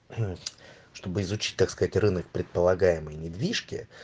чтобы изучить так сказать рынок предполагаемой недвижки